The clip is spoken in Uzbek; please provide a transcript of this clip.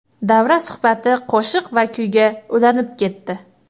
Davra suhbati qo‘shiq va kuyga ulanib ketdi.